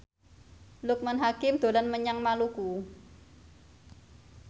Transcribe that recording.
Loekman Hakim dolan menyang Maluku